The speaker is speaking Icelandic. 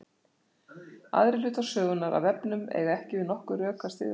aðrir hlutar sögunnar af vefnum eiga ekki við nokkur rök að styðjast